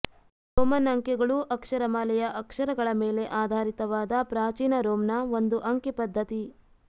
Roman ಅಂಕಿಗಳು ಅಕ್ಷರಮಾಲೆಯ ಅಕ್ಷರಗಳ ಮೇಲೆ ಆಧಾರಿತವಾದ ಪ್ರಾಚೀನ ರೋಮ್ನ ಒಂದು ಅಂಕಿ ಪದ್ಧತಿ